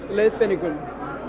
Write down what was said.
leiðbeiningum